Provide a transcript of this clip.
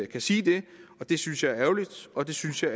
kan sige det og det synes jeg er ærgerligt og det synes jeg